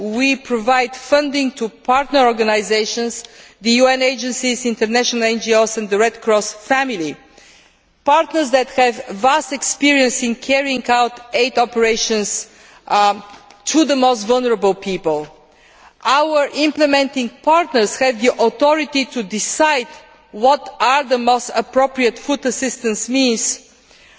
It provides funding to partner organisations the UN agencies, international NGOs, the Red Cross family or partners who have vast experience in carrying out aid operations among the most vulnerable people. Our implementing partners have the authority to decide what the most appropriate food assistance needs are